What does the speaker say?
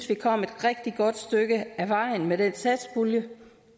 vi kom et rigtig godt stykke ad vejen med den satspulje